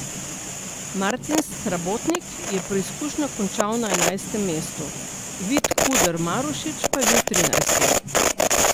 Martin Srabotnik je preizkušnjo končal na enajstem mestu, Vid Kuder Marušič pa je bil trinajsti.